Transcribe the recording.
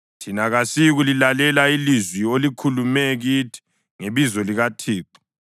“Thina kasiyikulilalela ilizwi olikhulume kithi ngebizo likaThixo!